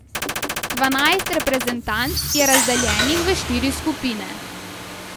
Dvanajst reprezentanc je razdeljenih v štiri skupine.